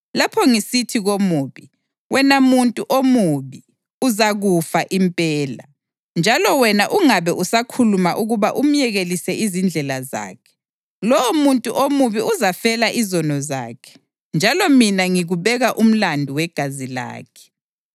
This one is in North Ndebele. Lapho ngisithi komubi, ‘Wena muntu omubi, uzakufa impela,’ njalo wena ungabe usakhuluma ukuba umyekelise izindlela zakhe, lowomuntu omubi uzafela izono zakhe, njalo mina ngikubeka umlandu wegazi lakhe.